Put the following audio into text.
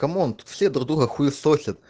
камонт тут все друг друга хуесосят